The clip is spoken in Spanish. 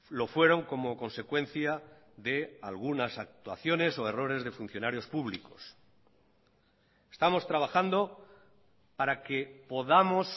lo fueron como consecuencia de algunas actuaciones o errores de funcionarios públicos estamos trabajando para que podamos